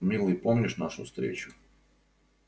милый помнишь нашу встречу